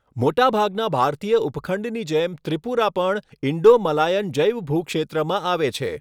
મોટાભાગના ભારતીય ઉપખંડની જેમ ત્રિપુરા પણ ઇંડો મલાયન જૈવભૂક્ષેત્રમાં આવે છે.